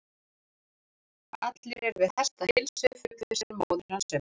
Allir eru við hestaheilsu, fullvissaði móðir hans um.